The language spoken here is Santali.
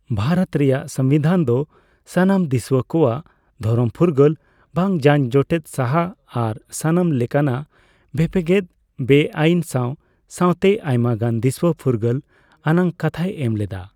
ᱵᱷᱟᱨᱚᱛ ᱨᱮᱭᱟᱜ ᱥᱚᱝᱵᱤᱫᱷᱟᱱ ᱫᱚ ᱥᱟᱱᱟᱢ ᱫᱤᱥᱣᱟᱹ ᱠᱚᱣᱟᱜ ᱫᱷᱚᱨᱚᱢ ᱯᱷᱩᱜᱟᱹᱞ, ᱵᱟᱝ ᱡᱟᱜ ᱡᱚᱴᱮᱫ ᱥᱟᱦᱟ ᱟᱨ ᱥᱟᱱᱟᱢ ᱞᱮᱠᱟᱱᱟᱜ ᱵᱷᱮᱯᱮᱜᱮᱫ ᱵᱮ ᱟᱹᱭᱤᱱ ᱥᱟᱣ ᱥᱟᱣᱛᱮ ᱟᱭᱢᱟᱜ ᱫᱤᱥᱦᱟᱹ ᱯᱷᱩᱨᱜᱟᱹᱞ ᱟᱱᱟᱜ ᱠᱟᱛᱦᱟᱭ ᱮᱢ ᱞᱮᱫᱟ ᱾